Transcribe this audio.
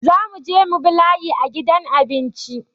Za mu je mu bi layi a gidan abinci